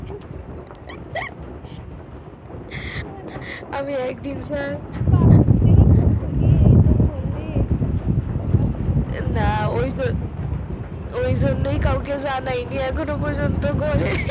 আমি একদিন ছাড়া এইসব করলে না ওই জন্য ওই জন্য কাউকে জানায়নি এখননো পযন্ত ঘরে